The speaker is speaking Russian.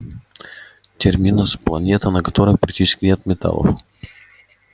терминус планета на которой практически нет металлов